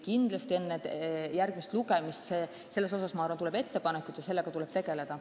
Kindlasti tuleb enne järgmist lugemist selle kohta ettepanekuid ja sellega tuleb tegelda.